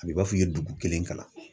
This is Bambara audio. A b'i b'a f'i ye dugu kelen kalan